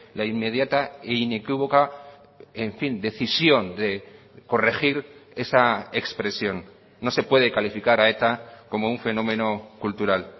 la inmediata e inequívoca en fin decisión de corregir esa expresión no se puede calificar a eta como un fenómeno cultural